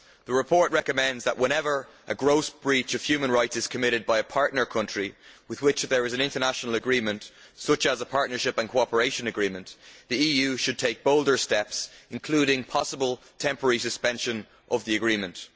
The report recommends that whenever a gross breach of human rights is committed by a partner country with which there is an international agreement, such as the Partnership and Cooperation Agreement, the EU should take bolder steps, including possible temporary suspension of the agreement.